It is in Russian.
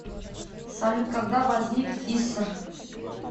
салют когда возник иср